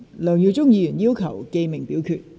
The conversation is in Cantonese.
梁耀忠議員要求點名表決。